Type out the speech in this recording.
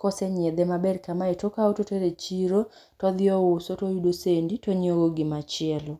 kose nyiedhe maber kamae, tokawo totero e chiro to odhi ouso, toyudogo sendi to onyiewogo gima chielo.